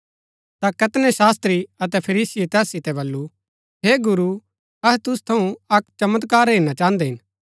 ता कैतनै शास्त्री अतै फरीसीये तैस सितै बल्लू हे गुरू अहै तुसु थऊँ अक्क चमत्कार हेरना चाहन्दै हिन